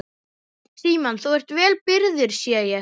Símon: Þú ert vel byrgður sé ég?